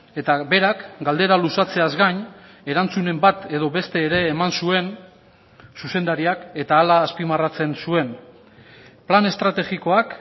eta berak galdera luzatzeaz gain erantzunen bat edo beste ere eman zuen zuzendariak eta hala azpimarratzen zuen plan estrategikoak